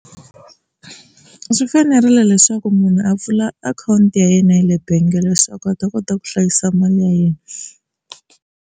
Swi fanerile leswaku munhu a pfula akhawunti ya yena yale bangi leswaku a ta kota ku hlayisa mali ya yena.